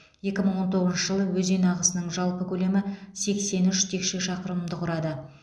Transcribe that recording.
екі мың он тоғызыншы жылы өзен ағысының жалпы көлемі сексен үш текше шақырымды құрады